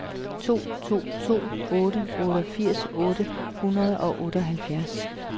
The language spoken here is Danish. to to to otte otteogfirs otte hundrede og otteoghalvtreds